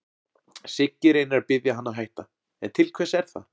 Siggi reynir að biðja hann að hætta, en til hvers er það?